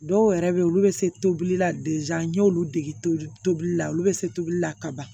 Dɔw yɛrɛ bɛ yen olu bɛ se tobili la n y'olu dege tobili la olu bɛ se tobili la kaban